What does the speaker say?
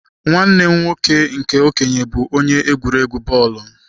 Nwanne m nwoke nke okenye bu onye egwuregwu bọọlụ..